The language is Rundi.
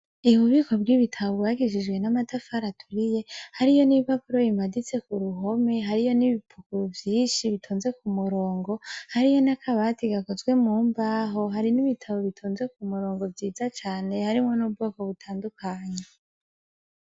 Ububiko bw'ibitabo bwubakishijwe n'amatafari aturiye hariyo n'ibipapuro bimaditse kuruhome hariyo n'ibipapuro vyinshi bitonze kumurongo, hariyo n'akabati gakozwe mumbaho hari n'ibitabo bionze kumurongo vyiza cane harimwo n'ubwoko butandukanye